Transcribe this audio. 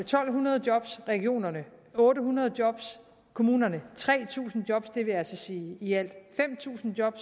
to hundrede job regionerne otte hundrede job kommunerne tre tusind job det vil altså sige i alt fem tusind job